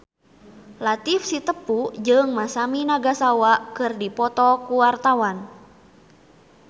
Latief Sitepu jeung Masami Nagasawa keur dipoto ku wartawan